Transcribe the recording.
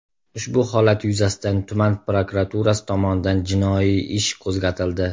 Ushbu holat yuzasidan tuman prokuraturasi tomonidan jinoiy ish qo‘zg‘atildi.